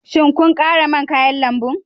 Shin kun kara man kayan lambu